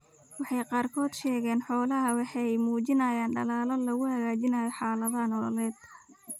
Waxa ay qaarkood ka sheegeen xoolahooda waxa ay muujinayaan dadaallo lagu hagaajinayo xaaladda nololeed.